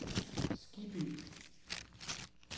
Skibby